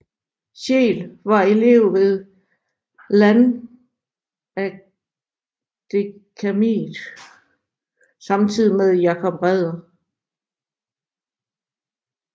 Scheel var elev ved Landkadetakademiet samtidigt med Jacob Ræder